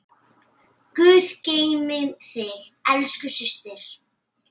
Guð geymi þig, elsku systir.